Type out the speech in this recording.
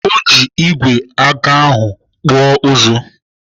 Ọ ji igwe aga ahụ kpụọ ụzụ.